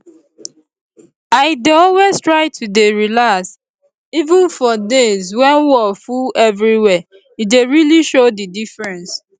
i dey always try to dey relax even for days when wor full everywhere e dey really show the diffreence